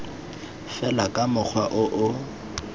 fela ka mokgwa o o